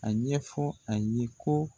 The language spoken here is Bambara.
A ɲɛfɔ a ye ko